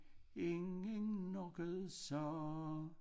Ingen noget sagde